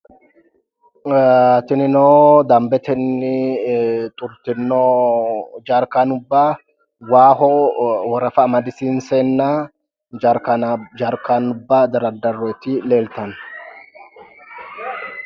Jerkeenubba tinnino jawa geesha xurtino jerkeenubba waaho Tara amadisiinseenna jarkaanubba diroonniti leeltano.